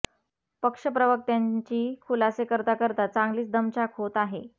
पक्ष प्रवक्त्यांची खुलासे करता करता चांगलीच दमछाक होत आहे